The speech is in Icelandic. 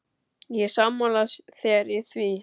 Ég er sammála þér í því.